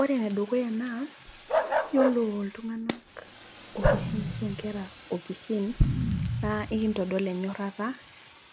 Ore enedukuya naa yiolo iltung'anak okishin ashu inkera naa ikintodol enyorrata